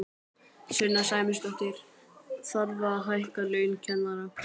Sunna Sæmundsdóttir: Þarf að hækka laun kennara?